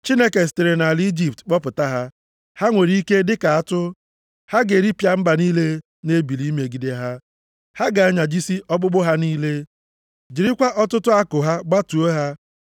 “Chineke sitere nʼala Ijipt kpọpụta ha. Ha nwere ike dịka atụ. Ha ga-eripịa mba niile na-ebili imegide ha. Ha ga-anyajisi ọkpụkpụ ha niile, jirikwa ọtụtụ àkụ ha gbatuo ha.